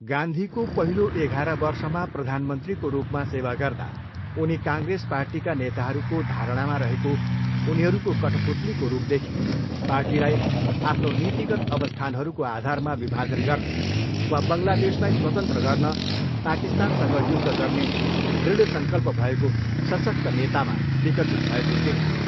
गान्धीको पहिलो एघार वर्षमा प्रधानमन्त्रीको रूपमा सेवा गर्दा उनी काङ्ग्रेस पार्टीका नेताहरूको धारणामा रहेको उनीहरूको कठपुतलीको रूपदेखि, पार्टीलाई आफ्नो नीतिगत अवस्थानहरूको आधारमा विभाजन गर्ने वा बङ्गलादेशलाई स्वतन्त्र गर्न पाकिस्तानसँग युद्ध गर्ने दृड संकल्प भएको सशक्त नेतामा विकसित भएको देखियो।